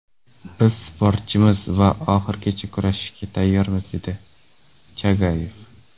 Biz sportchimiz va oxirigacha kurashishga tayyormiz”, dedi Chagayev.